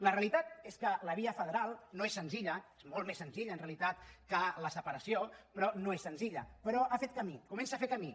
la realitat és que la via federal no és senzilla és molt més senzilla en realitat que la separació però no és senzilla però ha fet camí comença a fer camí